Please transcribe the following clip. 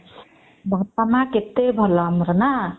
ବାପା ମା କେତେ ଭଲ ଆମର ନା